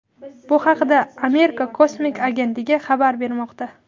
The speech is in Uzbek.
Bu haqda Amerika kosmik agentligi xabar bermoqda.